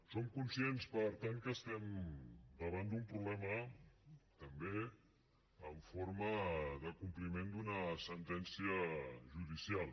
som conscients per tant que estem davant d’un problema també en forma de compliment d’una sentència judicial